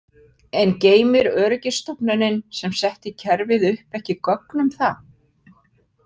En geymir öryggisstofnunin sem setti kerfið upp ekki gögn um það?